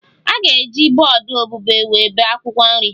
A ga-eji bọọdụ obube were bee akwụkwọ nri